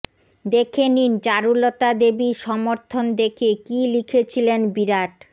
দেখে নিন চারুলতা দেবীর সমর্থন দেখে কী লিখেছিলেন বিরাট